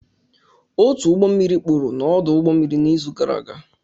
Otu ụgbọ mmiri kpuru n'ọdụ ụgbọ mmiri n'izu gara aga